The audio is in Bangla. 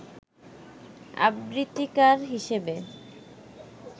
আবৃত্তিকার হিসেবে